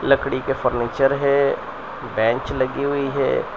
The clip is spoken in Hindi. लकड़ी के फर्नीचर है बेंच लगी हुई है।